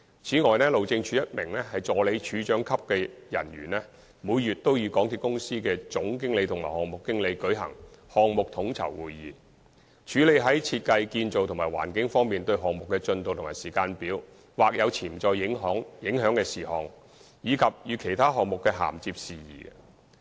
此外，路政署一名助理署長級的人員，每月都與港鐵公司的總經理及項目經理舉行項目統籌會議，處理在設計、建造及環境等方面，對於項目的進度及時間表或有潛在影響的事項，以及與其他項目的銜接事宜。